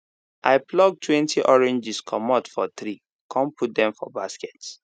i pluck twenty oranges comot for tree con put dem for basket